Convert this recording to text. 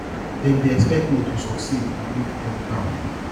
dem dey expect me to succeed and make dem proud